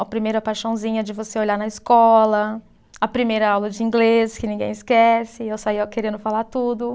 A primeira paixãozinha de você olhar na escola, a primeira aula de inglês que ninguém esquece, eu saía querendo falar tudo.